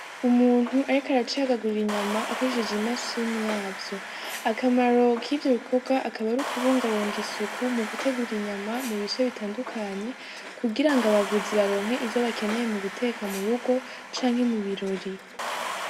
Umuntu ariko aracagagura inyama akoresheje imashini yavyo, akamaro k'ivyo bikorwa akaba ar'ukubungabunga isuku mu gutegura inyama mu bice bitandukanye kugira ngo abaguzi baronke izo bakeneye mu guteka mu rugo canke mu birori.